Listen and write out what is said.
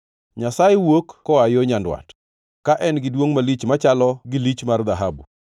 Nyasaye wuok koa yo nyandwat ka en gi duongʼ malich machalo gi lich mar dhahabu.